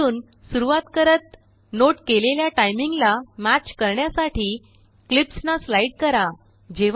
शेवटूनसुरुवातकरत note केलेल्याटाइमिंगलामैच करण्यासाठीक्लिप्सनास्लाइड करा